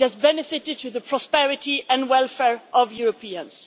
It has benefited the prosperity and welfare of Europeans.